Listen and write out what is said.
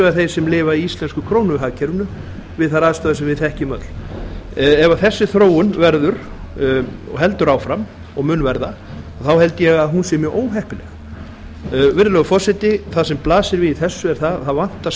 þeir sem lifa í íslenska krónuhagkerfinu við þær aðstæður sem við þekkjum öll ef þessi þróun verður og heldur áfram og mun verða þá held ég að hún sé mjög óheppileg virðulegi forseti það sem blasir við í þessu er að það vantar